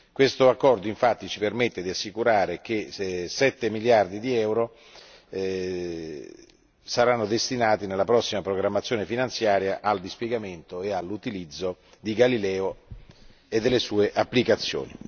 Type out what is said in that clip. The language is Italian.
Questo accordo, infatti, ci permette di assicurare che 7 miliardi di euro siano destinati nella prossima programmazione finanziaria al dispiegamento e all'utilizzo di Galileo e delle sue applicazioni.